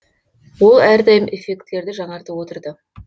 ол әрдайым эффектілерді жаңартып отырды